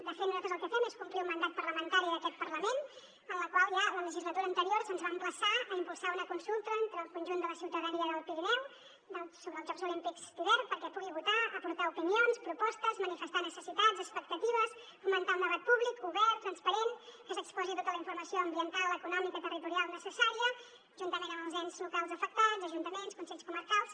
de fet nosaltres el que fem és complir un mandat parlamentari d’aquest parlament en el qual ja a la legislatura anterior se’ns va emplaçar a impulsar una consulta entre el conjunt de la ciutadania del pirineu sobre els jocs olímpics d’hivern perquè pugui votar aportar opinions propostes manifestar necessitats expectatives fomentar un debat públic obert transparent que s’exposi tota la informació ambiental econòmica territorial necessària juntament amb els ens locals afectats ajuntaments consells comarcals